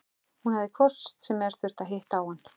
Hún hafi hvort sem er þurft að hitta á hann.